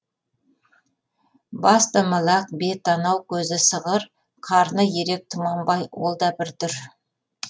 бас домалақ бет анау көзі сығыр қарны ерек тұманбай ол да бір дүр